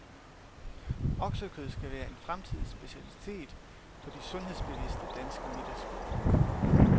Oksekød skal være en fremtidig specialitet på de sundhedsbevidste danske middagsborde.